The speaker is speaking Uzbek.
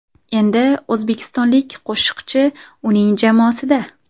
Endi o‘zbekistonlik qo‘shiqchi uning jamoasida.